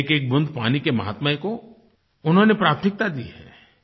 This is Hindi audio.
एकएक बूँद पानी के माहात्म्य को उन्होंने प्राथमिकता दी है